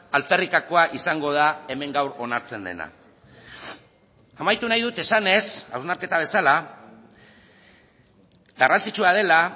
alferrikakoa izango da hemen gaur onartzen dena amaitu nahi dut esanez hausnarketa bezala garrantzitsua dela